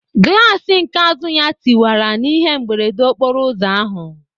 Glassi nke azụ ya tiwara na ihe mberede okporo ụzọ ahụ